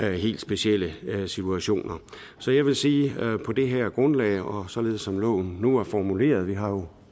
helt specielle situationer så jeg vil sige at på det her grundlag og således som loven nu er formuleret vi har jo